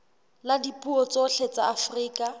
la dipuo tsohle tsa afrika